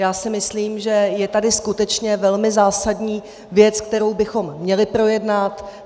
Já si myslím, že je tady skutečně velmi zásadní věc, kterou bychom měli projednat.